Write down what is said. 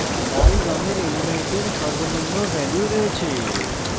লাল রঙের elements সর্বনিম্ন value রয়েছে